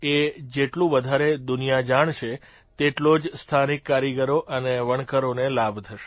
એ જેટલું વધારે દુનિયા જાણશે તેટલો જ સ્થાનિક કારીગરો અને વણકરોને લાભ થશે